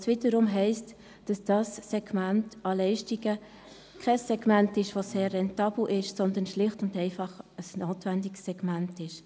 Das wiederum heisst, dass dieses Segment an Leistungen kein sehr rentables, sondern schlicht und einfach ein notwendiges ist.